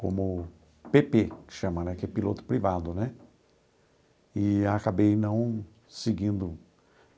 como pê pê que chama né, que é piloto privado né, e acabei não seguindo.